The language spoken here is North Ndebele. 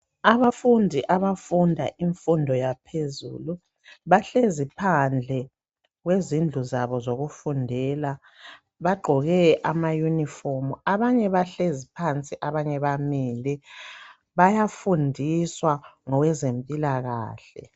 Abafundi abafunda imfundo yaphezulu bahlezi phandle kwezindlu zabo zokufundela bagqoke amayunifomu. Abanye bahlezi phansi abanye bamile, bayafundiswa ngowezempilakahle.